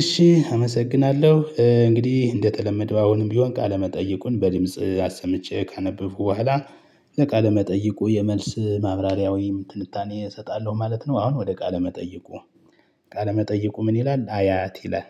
እሺ አመሰግናለሁ እንግዲህ እንደተለመደው አሁንም ቢሆን ቃለ መጠየቁን በድምጽ አሰምቼ ካነበብኩ በኋላ ለቃለ መጠይቁ የመልስ ማብራሪያ ወይም ትንታኔ እሰጣለሁ ማለት ነው። አሁን ወደ ቃለ መጠይቁ ቃለ መጠይቁ ምን? ይላል አያት ይላል።